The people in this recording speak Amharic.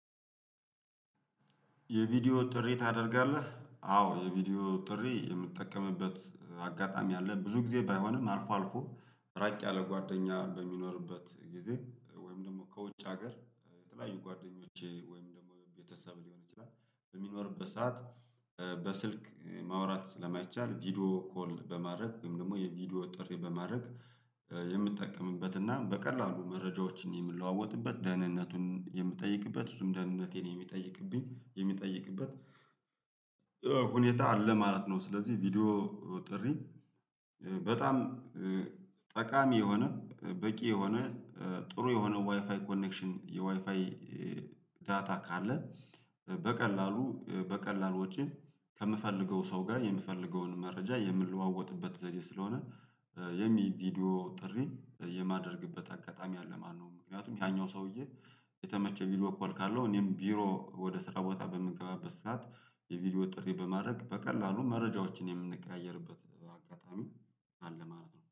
የቪዲዮ ጥሪ ታደርጋለህ? አዎ የቪዲዮ ጥሪ የምጠቀምበት አጋጣሚ አለ ብዙ ጊዜ ባይሆንም አልፎ አልፎ ራቅ ያለ ጓደኛ በሚኖርበት ጊዜ ወይም ደግሞ ከውጭ ሀገር የተለያዩ ጓደኞቼ ወይም ደግሞ ቤተሰብ ሊሆን ይችላል በሚኖርበት ሰዓት። በስልክ ማውራት ስለማይቻል ቪዲዮ ኮል በማድረግ ወይም ደግሞ የቪዲዮ ጥሪ በማድረግ የምትጠቀምበት እና በቀላሉ መረጃዎችን የምለዋወጥበት ደህንነቱን የምጠይቅበት እሱም ደህንነቴን የሚጠይቅበት ሁኔታ አለ ማለት ነው። ስለዚህ ቪዲዮ ጥሪ በጣም ጠቃሚ የሆነ በቂ የሆነ ጥሩ የሆነ ዋይፋይ ኮኔክሽን የዋይፋይ ዳታ ካለ በቀላሉ በቀላሉ ወጪ ከምፈልገው ሰው ጋር የምፈልገውን መረጃ የምለዋወጥበት ዘዴ ስለሆነ ይህም የቪዲዮ ጥሪ የማደርግበት አጋጣሚ አለ ማለት ነው። ምክንያቱም ያኛው ሰውዬ የተመቸ ቪዲዎ ኮል ካለው እኔም ቢሮ ወደ ስራ ቦታ በምገባበት ሰዓት የቪዲዮ ጥሪ በማድረግ በቀላሉ መረጃዎችን የምንቀያየርበት አጋጣሚ አለ ማለት ነው